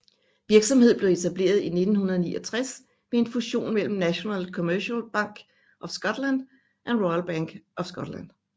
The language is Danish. Virksomheden blev etableret i 1969 ved en fusion imellem National Commercial Bank of Scotland og Royal Bank of Scotland